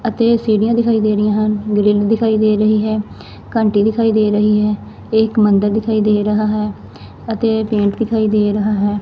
ਅਤੇ ਸੀਢੀਆਂ ਦਿਖਾਈ ਦੇ ਰਹੀ ਹਨ ਗ੍ਰਿਲ ਦਿਖਾਈ ਦੇ ਰਹੀ ਹੈ ਘੰਟੀ ਦਿਖਾਈ ਦੇ ਰਹੀ ਹੈ ਏਕ ਮੰਦਰ ਦਿਖਾਈ ਦੇ ਰਿਹਾ ਹੈ ਅਤੇ ਪੇਂਟ ਦਿਖਾਈ ਦੇ ਰਿਹਾ ਹੈ।